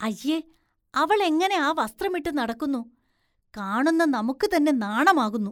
അയ്യേ, അവളെങ്ങനെ ആ വസ്ത്രമിട്ട് നടക്കുന്നു, കാണുന്ന നമുക്ക് തന്നെ നാണമാകുന്നു.